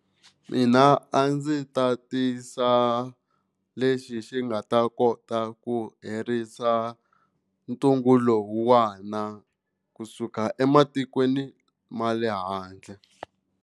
Mina a ndzi ta tisa lexi xi nga ta kota ku herisa ntungu lowuwani kusuka ematikweni ma le handle.